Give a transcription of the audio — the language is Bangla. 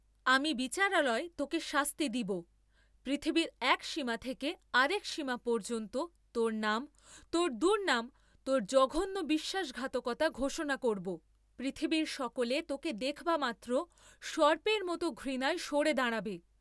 আমি বিচারালয়ে তোকে শাস্তি দিব, পৃথিবীর এক সীমা থেকে আর এক সীমা পর্য্যন্ত তোর নাম, তোর দুর্ণাম তোর জঘন্য বিশ্বাসঘাতকতা ঘোষণা করব, পৃথিবীর সকলে তোকে দেখবামাত্র সর্পের মত ঘৃণায় সরে দাঁড়াবে।